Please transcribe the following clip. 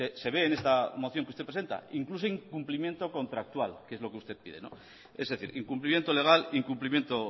se ve en esta moción que usted presenta incluso incumplimiento contractual que es lo que usted pide es decir incumplimiento legal incumplimiento